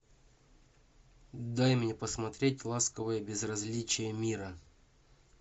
дай мне посмотреть ласковое безразличие мира